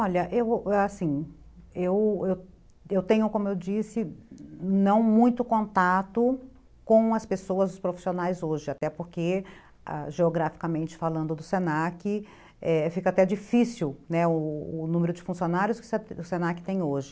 Olha, eu, assim, eu eu tenho, como eu disse, não muito contato com as pessoas profissionais hoje, até porque, geograficamente falando do se na que, ah,